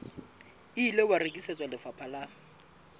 ile wa rekisetswa lefapha la